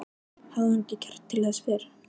Hafði hún ekki kjark til þess fyrr?